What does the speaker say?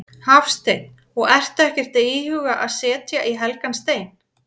Hafsteinn: Og ertu ekkert að íhuga að setja í helgan stein?